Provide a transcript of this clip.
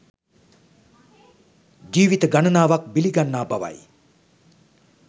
ජීවිත ගණනාවක් බිලි ගන්නා බවයි